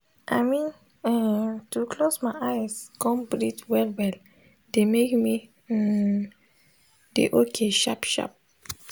i mean en to close my eyes come breath well well de make me hmmn dey ok sharp sharp